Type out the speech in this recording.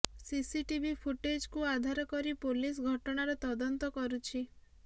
CCTV ଫୁଟେଜକୁ ଆଧାର କରି ପୋଲିସ ଘଟଣାର ତଦନ୍ତ କରୁଛି